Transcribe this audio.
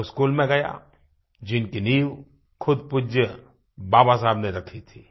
मैं उस स्कूल में गया जिनकी नींव खुद पूज्य बाबा साहब ने रखी थी